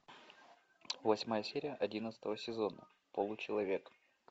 восьмая серия одиннадцатого сезона получеловек